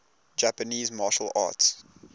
japanese martial arts